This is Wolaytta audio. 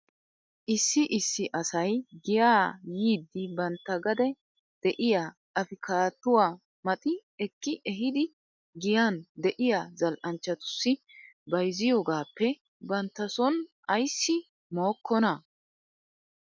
Issi issi asay giyaa yiiddi bantta gade de'iyaa apkaattuwaa maxi eki ehidi giyan de'iyaa zal'anchchatussi bayzziyoogaappe bantta son ayssi mookkonaa?